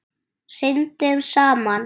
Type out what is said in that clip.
Syndum saman.